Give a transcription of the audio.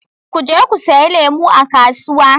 u je ku sayi lemu a kasuwa.